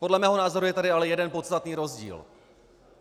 Podle mého názoru je tady ale jeden podstatný rozdíl.